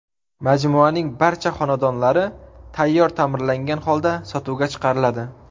Majmuaning barcha xonadonlari tayyor ta’mirlangan holda sotuvga chiqariladi.